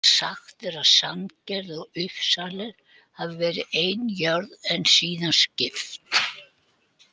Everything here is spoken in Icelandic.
Sagt er að Sandgerði og Uppsalir hafi verið ein jörð en síðan skipst.